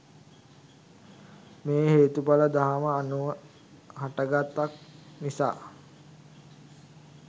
මෙය හේතුඵල දහම අනුව හටගත්තක් නිසා